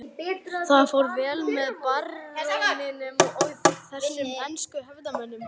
Það fór vel á með baróninum og þessum ensku hefðarmönnum.